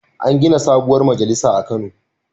An gina sabuwar majalisa a Kano.